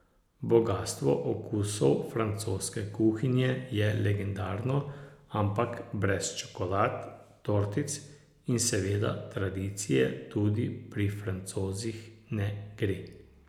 Bogastvo okusov francoske kuhinje je legendarno, ampak brez čokolad, tortic in seveda tradicije tudi pri Francozih ne gre.